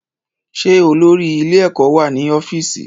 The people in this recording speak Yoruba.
Ṣé olórí ilé-ẹ̀kọ́ wà ní ọ́fíìsì?